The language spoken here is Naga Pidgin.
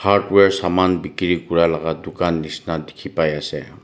hardware saman bikiri kurilaka dukan nishina dikhipaiase.